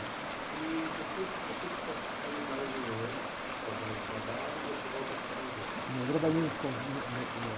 E depois você fica um, mais um ano trabalhando nesse trabalho e você volta para o convento?ão, trabalhei nesse conv, né, ni, ná